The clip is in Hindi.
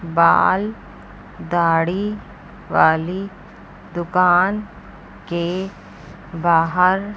बाल दाढ़ी वाली दुकान के बाहर--